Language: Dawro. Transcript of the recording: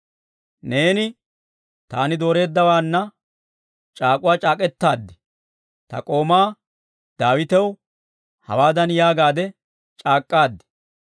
Neeni, «Taani dooreeddawaana c'aak'uwaa c'aak'k'etaad. Ta k'oomaa Daawitaw hawaadan yaagaade c'aak'k'aad;